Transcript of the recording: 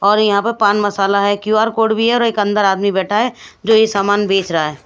और यहां पर पान मसाला है क्यूआर कोड भी है और एक अंदर आदमी बैठा है जो ये सामान बेच रहा है।